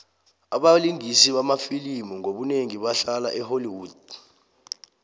abalingisi bamafilimu ngobunengi bahlala e holly wood